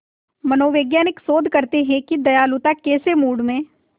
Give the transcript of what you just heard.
मनोवैज्ञानिक शोध करते हैं कि दयालुता कैसे मूड में